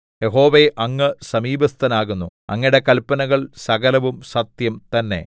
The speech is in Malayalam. യഹോവേ അങ്ങ് സമീപസ്ഥനാകുന്നു അങ്ങയുടെ കല്പനകൾ സകലവും സത്യം തന്നെ